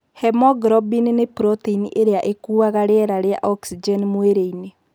Hemoglobin nĩ protein ĩrĩa ĩkuuaga rĩera rĩa oxygen mwĩrĩ-inĩ.